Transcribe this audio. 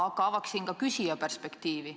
Aga avaksin kõigepealt ka küsija perspektiivi.